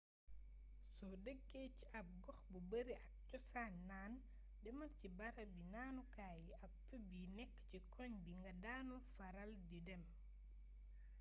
soo dëkkee ci ab gox bu bari ak cosaani naan demal ci barabi naanukaay yi ak pub yi nekk ci koñ bi nga daanul faral di dem